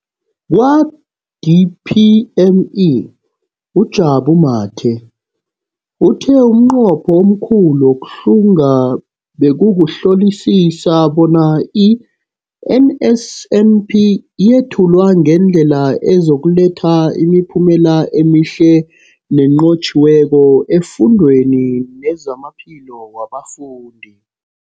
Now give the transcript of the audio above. Kwa-DPME, uJabu Mathe, uthe umnqopho omkhulu wokuhlunga bekukuhlolisisa bona i-NSNP yethulwa ngendlela ezokuletha imiphumela emihle nenqotjhiweko efundweni nezamaphilo wabafundi.